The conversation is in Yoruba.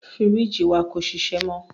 Fírìjì wa kò ṣiṣẹ́ mọ.